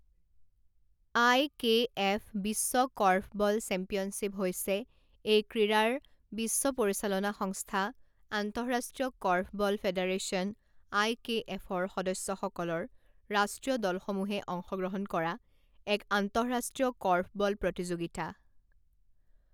আই K F বিশ্ব korfball championship হৈছে এই ক্ৰীড়াৰ বিশ্ব পৰিচালনা সংস্থা আন্তঃৰাষ্ট্ৰীয় কৰ্ফবল ফেডাৰেশ্যন আই কে এফৰ সদস্যসকলৰ ৰাষ্ট্ৰীয় দলসমূহে অংশগ্ৰহণ কৰা এক আন্তঃৰাষ্ট্ৰীয় কৰ্ফবল প্ৰতিযোগিতা।